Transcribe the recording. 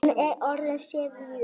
Hún er orðin syfjuð.